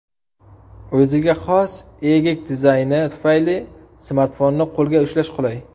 O‘ziga xos egik dizayni tufayli smartfonni qo‘lda ushlash qulay.